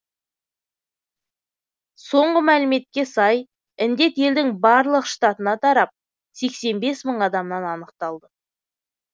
соңғы мәліметке сай індет елдің барлық штатына тарап сексен бес мың адамнан анықталды